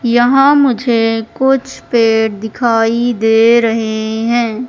यहां मुझे कुछ पेड़ दिखाई दे रहे हैं।